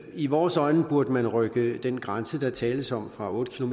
i vores øjne burde man rykke den grænse der tales om fra otte